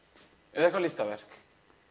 eða eitthvað listaverk